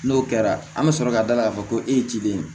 N'o kɛra an bɛ sɔrɔ ka da la k'a fɔ ko e ye ciden ye